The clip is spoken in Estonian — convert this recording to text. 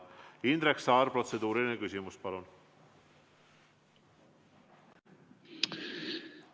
Indrek Saar, protseduuriline küsimus, palun!